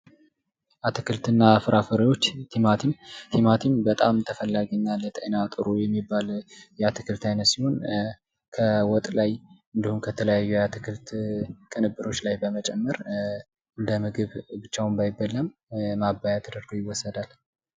አትክልትና ፍራፍሬዎች ፦ ቲማቲም ፦ ቲማቲም በጣም ተፈላጊ እና ለጤና ጥሩ የሚባል የአትክልት ዓይነት ሲሆን ከወጥ ላይ እንዲሁም ከተለያዩ የአትክልት ቅንብሮች ላይ ለመጨመር እንደ ምግብ ብቻውን ባይበላም ማባያ ተደርጎ ይወሰዳል ።